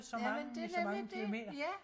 Jamen det nemlig det ja!